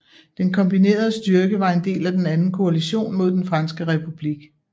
Den kombinerede styrke var en del af Den anden koalition mod den franske republik